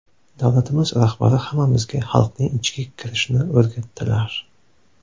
Davlatimiz rahbari hammamizga xalqning ichiga kirishni o‘rgatdilar.